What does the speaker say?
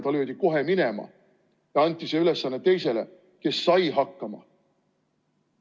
Ta löödi kohe minema ja anti see ülesanne teisele, kes sai hakkama.